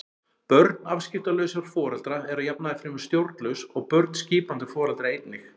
Börn afskiptalausra foreldra eru að jafnaði fremur stjórnlaus og börn skipandi foreldra einnig.